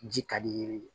Ji ka di ye